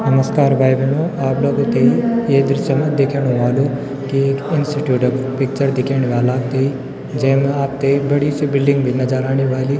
नमश्कार भाई-भेणाे आप लोगों ते ये दृश्य मा दिखेणु ह्वोलु की एक इंस्टिट्यूट क पिक्चर दिखेणी वाल आपथे जेम आपथे एक बड़ी सी बिल्डिंग भी नजर आणि वाली।